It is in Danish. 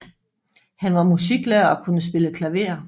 Han var musiklærer og kunne spille klaver